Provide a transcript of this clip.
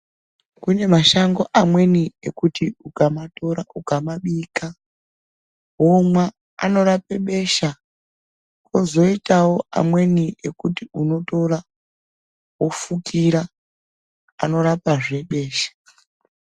Kune mashango amweni ekuti ukamatora ukamabika womwa anorapa besha kwozoitawo amweni ekuti unotora wofukira anorapa zve besha.